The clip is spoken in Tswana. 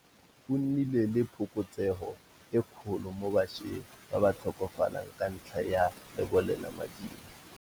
Go nnile le phokotsego e kgolo mo bašweng ba ba tlhokafalang ka ntlha ya lebolelamading.